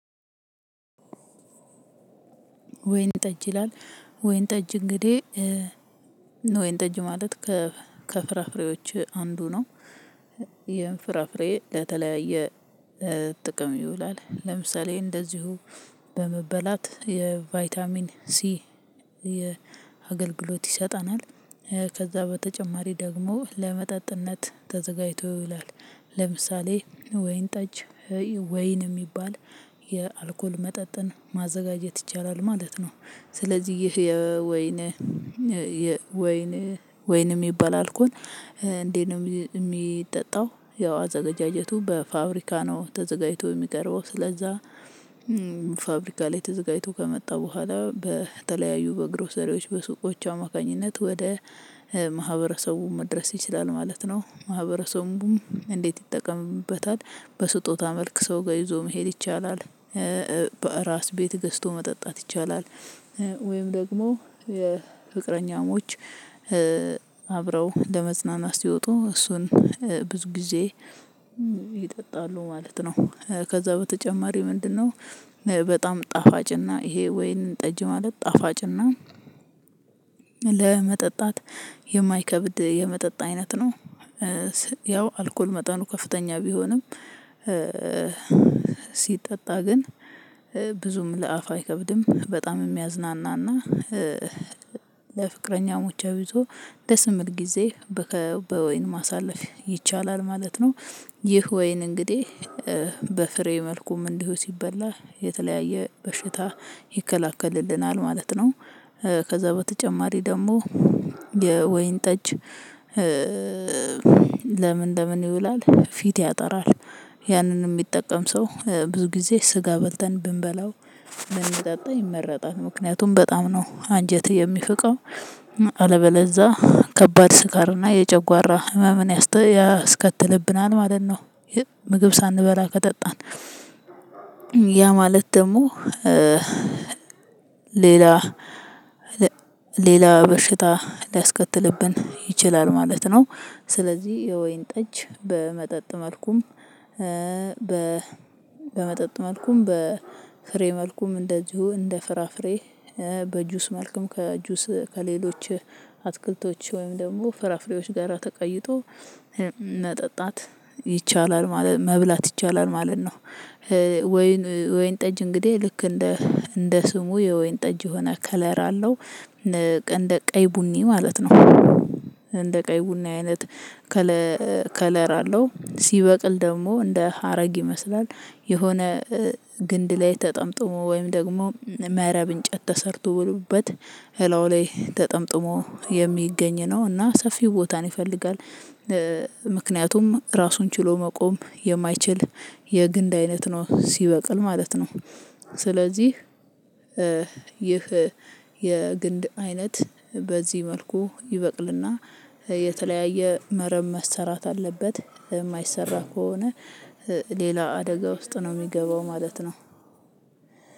ወይን ጠጅ ይላል ወይን ጠጅ እንግዲህ ወይን ጠጅ ማለት ከፍራፍሬዎች አንዱ ነው። ይሄን ፍራፍሬ ለተለያየ ጥቅም ይውላል ለምሳሌ እንደዚሁ በመበላት የቫይታሚን ሲ። የአገልግሎት ይሰጠናል ከዛ በተጨማሪ ደግሞ ለመጠጥነት ተዘጋጅቶ ይውላል። ለምሳሌ ወይን ጠጅ ወይን የሚባል የአልኮል መጠጥን ማዘጋጀት ይቻላል ማለት ነው። ስለዚህ ይህ የወይን ወይን ወይን የሚባል አልኮል እንዴት ነው የሚጠጣው? ያው አዘገጃጀቱ በፋብሪካ ነው ተዘጋጅቶ የሚቀርበው ስለዛ። ፋብሪካ ላይ ተዘጋጅቶ ከመጣ በኋላ በተለያዩ በግሮሰሪዎች በሱቆች አማካኝነት ወደ ማህበረሰቡ መድረስ ይችላል ማለት ነው። ማህበረሰቡም እንዴት ይጠቀምበታል? በስጦታ መልክ ሰው ጋር ይዞ መሄድ ይቻላል። በራስ ቤት ገዝቶ መጠጣት ይቻላል። ወይም ደግሞ የፍቅረኛሞች አብረው ለመዝናናት ሲወጡ እሱን ብዙ ጊዜ ይጠጣሉ ማለት ነው። ከዛ በተጨማሪ ምንድነው? በጣም ጣፋጭና ይሄ ወይን ጠጅ ማለት ጣፋጭና ለመጠጣት የማይከብድ የመጠጥ አይነት ነው። ያው አልኮል መጠኑ ከፍተኛ ቢሆንም ሲጠጣ ግን ብዙም ለአፍ አይከብድም። በጣም የሚያዝናናና ለፍቅረኛሞች አብሶ ደስ የሚል ጊዜ በወይን ማሳለፍ ይቻላል ማለት ነው። ይህ ወይን እንግዲህ በፍሬ መልኩም እንዲሁ ሲበላ የተለያየ በሽታ ይከለክልልናል ማለት ነው። ከዛ በተጨማሪ ደግሞ የወይን ጠጅ ለምን ለምን ይውላል ፊት ያጠራል። ያንንም የሚጠቀም ሰው ብዙ ጊዜ ስጋ በልተን ብንበላው ብንጠጣ ይመረጣል ምክንያቱም በጣም ነው አንጀት የሚፍቀው አለበለዛ ከባድ ስካርና የጨጓራ ህመምን ያስከትልብናል ማለት ነው። ምግብ ሳንበላ ከጠጣን። ያ ማለት ደግሞ ሌላ ሌላ በሽታ ሊያስከትልብን ይችላል ማለት ነው። ስለዚህ የወይን ጠጅ በመጠጥ መልኩም በ በመጠጥ መልኩም በ ፍሬ መልኩም እንደዚሁ እንደ ፍራፍሬ በጁስ መልኩም ከጁስ ከሌሎች አትክልቶች ወይም ደግሞ ፍራፍሬዎች ጋራ ተቀይጦ መጠጣት ይቻላል ማለት መብላት ይቻላል ማለት ነው። ወይን ወይን ጠጅ እንግዲህ ልክ እንደ እንደ ስሙ የወይን ጠጅ የሆነ ከለር አለው። እንደ ቀይ ቡኒ ማለት ነው። እንደ ቀይ ቡኒ አይነት ከለር አለው ሲበቅል ደግሞ እንደ ሀረግ ይመስላል። የሆነ ግንድ ላይ ተጠምጥሞ ወይም ደግሞ መረብ እንጨት ተሰርቶበት እላው ላይ ተጠምጥሞ የሚገኝ ነው እና ሰፊ ቦታን ይፈልጋል። ምክንያቱም ራሱን ችሎ መቆም የማይችል የግንድ አይነት ነው ሲበቅል ማለት ነው። ስለዚህ ይህ የግንድ አይነት በዚህ መልኩ ይበቅልና የተለያየ መረብ መሰራት አለበት የማይሰራ ከሆነ ሌላ አደጋ ውስጥ ነው የሚገባው ማለት ነው።